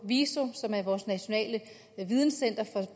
viso vores nationale videncenter